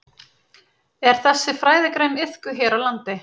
Er þessi fræðigrein iðkuð hér á landi?